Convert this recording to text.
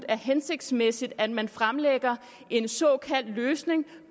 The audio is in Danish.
er hensigtsmæssigt at man fremlægger en såkaldt løsning